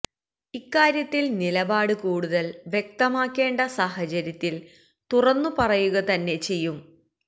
ഇക്കാര്യത്തില് നിലപാട് കൂടുതല് വ്യക്തമാക്കേണ്ട സാഹചര്യത്തില് തുറന്നുപറയുക തന്നെ ചെയ്യും